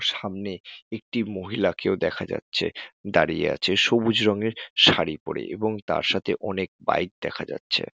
এবং সামনে একটি মহিলা কেউ দেখা যাচ্ছে দাঁড়িয়ে আছে সবুজ রঙের শাড়ি পরে এবং তার সাথে অনেক বাইক দেখা যাচ্ছে।